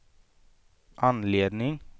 anledning